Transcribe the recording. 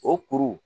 O kuru